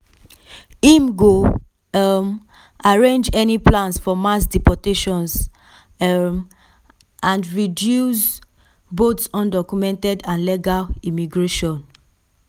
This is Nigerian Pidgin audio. im go um arrange any plans for mass deportations um and reduce both undocumented and legal immigration.